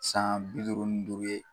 San bi duuru ni duuru ye .